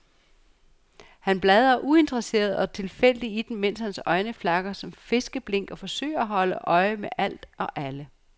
Han bladrer uinteresseret og tilfældigt i dem, mens hans øjne flakker som fiskeblink og forsøger at holde øje med alt og alle.